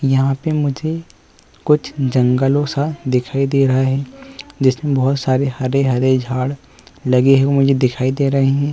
यहाँ पे मुझे कुछ जंगलों सा दिखाई दे रहा है जिसमें बोहत सारे हरे-हरे झाड़ लगे हुए दिखाई दे रहे हैं।